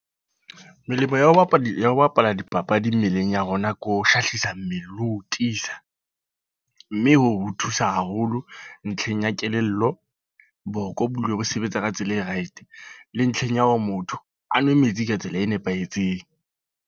Melemo ya ho bapala, ya ho bapala dipapadi mmeleng ya rona. Ke ho hlahlisa mmele le ho tiisa. Mme hoo ho thusa haholo ntlheng ya kelello, boko bo dule bo sebetsa ka tsela e right. Le ntlheng ya hore motho, a nwe metsi ka tsela e nepahetseng.